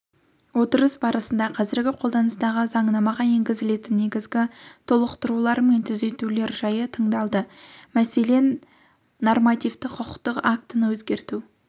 отырыс барысында қазіргі қолданыстағы заңнамаға енгізілетін негізгі толықтырулар мен түзетулер жайы тыңдалды мәселен нормативтік-құқықтық актіні өзгерту